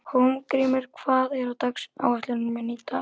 Hólmgrímur, hvað er á áætluninni minni í dag?